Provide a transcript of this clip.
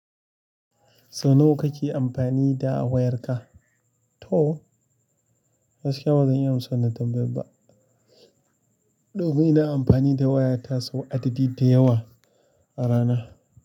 Sau nawa kake amfani da wayarka? To, gaskiya bazan iya amsa wannan tambayan ba. To ni ina amfani da wayata sau adadi da yawa a rana.